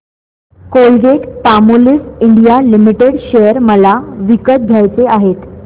Colgate Palmolive India limited share मला विकत घ्यायचे आहेत